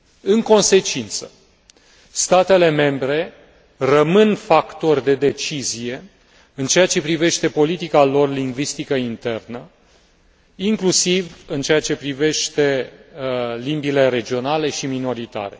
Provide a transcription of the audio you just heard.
În consecință, statele membre rămân factori de decizie în ceea ce privește politica lor lingvistică internă, inclusiv în ceea ce privește limbile regionale și minoritare.